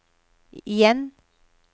igjen